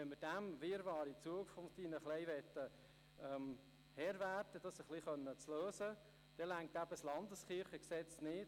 Wenn wir des Wirrwarrs Herr werden und eine Lösung finden wollen, dann reicht das LKG nicht.